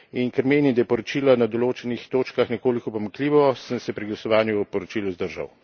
In ker menim, da je poročilo na določenih točkah nekoliko pomanjkljivo, sem se pri glasovanju o poročilu vzdržal.